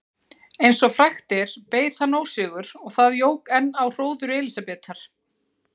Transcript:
Eins og frægt er beið hann ósigur og það jók enn á hróður Elísabetar.